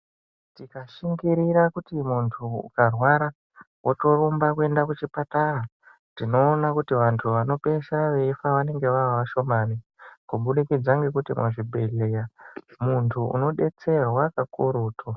Tikashingirira kuti muntu ukarwara, wotorumba kuenda kuchipatara, tinoona kuti vantu wanopeisira weifa wanenge wave washomani kubudikidza ngekuti muzvibhedhlera muntu unodetserwa kakurutu.